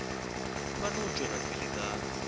ba no tšwela pele ka